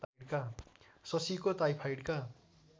शशीको टाइफाइडका